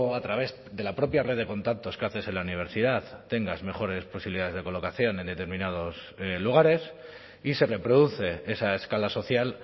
a través de la propia red de contactos que haces en la universidad tengas mejores posibilidades de colocación en determinados lugares y se reproduce esa escala social